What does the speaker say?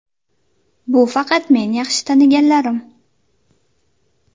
Bu faqat men yaxshi taniganlarim.